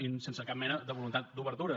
i sense cap mena de voluntat d’obertura